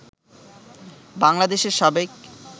বাংলাদেশের সাবেক